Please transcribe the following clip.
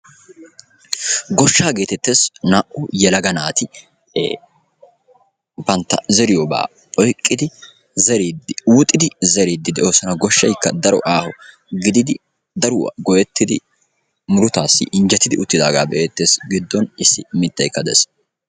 goshshaa getettees, naa''u yelaga naati bantta zeriyooba oyqqidi zeridi huuxxidi zeridi de'oosona. Goshshaykka daro aaho gidin daruwa goyyettidi murutassi injjettidi uttidaaga be''ettees, giddon issi mittaykka dees.